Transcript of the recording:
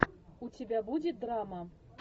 у тебя будет драма